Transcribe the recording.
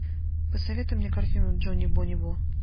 посоветуй мне картину джони бони бо